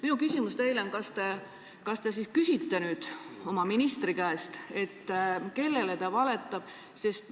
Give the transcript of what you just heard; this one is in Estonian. Minu küsimus teile on: kas te küsite nüüd oma ministri käest, kes kellele valetab?